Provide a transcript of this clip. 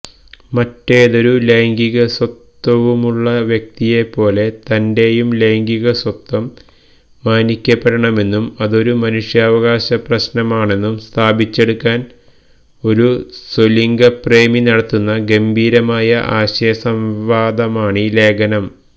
മറ്റേതൊരു ലൈംഗികസ്വത്വവുമുള്ള വ്യക്തിയെപ്പോലെ തന്റെയും ലൈംഗികസ്വത്വം മാനിക്കപ്പെടണമെന്നും അതൊരു മനുഷ്യാവകാശപ്രശ്നമാണെന്നും സ്ഥാപിച്ചെടുക്കാൻ ഒരു സ്വലിംഗപ്രേമി നടത്തുന്ന ഗംഭീരമായ ആശയസംവാദമാണീ ലേഖനം